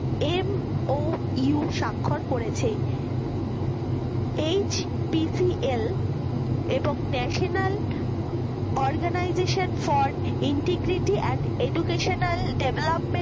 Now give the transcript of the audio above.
MOU সাক্ষর করেছে HPCL এবং national organisation for integrity and educational development